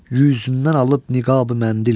üzündən alıb niqabı məndil.